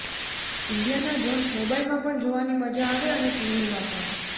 ઇન્ડિયાના જોન્સ મોબાઈલમાં પણ જોવાની મજા આવે અને ટીવીમાં પણ